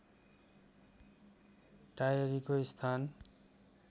टाएरीको स्थान